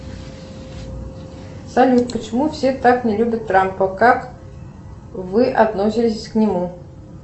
салют почему все так не любят трампа как вы относитесь к нему